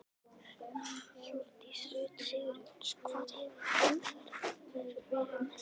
Hjördís Rut Sigurjónsdóttir: Hvar hefur umferðin verið mest?